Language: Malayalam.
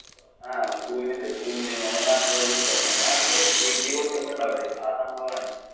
ങ്ഹാ. കൂണില്ലേ കൂണ് നമ്മുടെ നാട്ടിലോക്കെ കിട്ടും. നമ്മുടെ നാട്ടില് ഇടി പൊട്ടുമ്പോ ഉണ്ടാവില്ലേ ആ സംഭവം ആണ്.